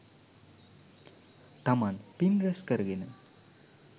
තමන් පින් රැස් කරගෙන,